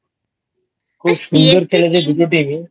খুব সুন্দর খেলেছে দুটো Team ই I